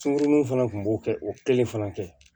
Sunkurununin fana tun b'o kɛ o kelen fana kɛ